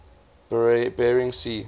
bering sea